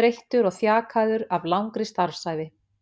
þreyttur og þjakaður af langri starfsævi.